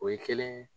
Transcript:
O ye kelen ye